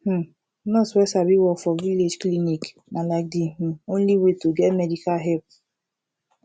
hmm nurse wey sabi work for village clinic na like de um only way to get medical help